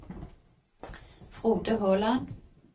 Frode Håland